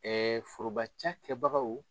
Ɛɛ foroba ca kɛbagaw